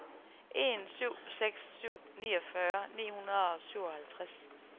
en syv seks syv niogfyrre ni hundrede og syvoghalvtreds